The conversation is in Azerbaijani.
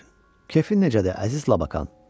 Kefin necədir, əziz Labakan?